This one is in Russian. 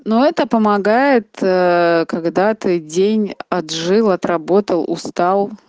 ну это помогает когда ээ ты день отжил отработал устал